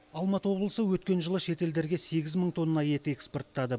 алматы облысы өткен жылы шетелдерге сегіз мың тонна ет экспорттады